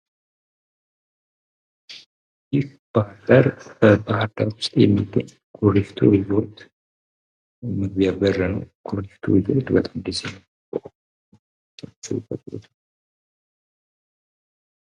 ይህ ባህር ዳር በባህር ዳር ውስጥ የሚገኝ ኩሪፍቱ ሪዞርት መግቢያ በር ነው ። ኩሪፍቱ ሪዞርት በጣም ደስ ይላል ።